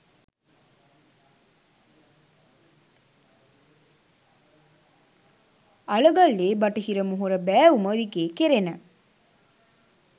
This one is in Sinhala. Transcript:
අලගල්ලේ බටහිර මොහොර බෑවුම දිගේ කෙරෙන